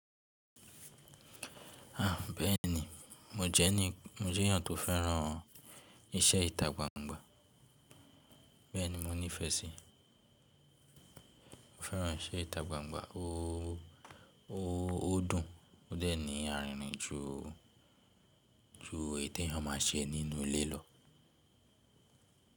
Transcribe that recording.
À, bẹ́ẹ̀ni, mo jẹ́ni, mo jẹ́ ènìyàn tó fẹ́ràn iṣẹ́ ìta gbangba. Bẹ́ẹ̀ni mo nífẹ̀ẹ́ sí. Mo fẹ́ràn iṣẹ́ ìta gbangba o, ó dùn. Ó dẹ̀ ní àìrìnrìn ju, ju ètí ẹ má ṣe nínú ilé lọ.